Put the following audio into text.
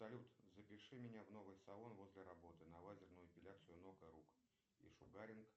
салют запиши меня в новый салон возле работы на лазерную эпиляцию ног и рук и шугаринг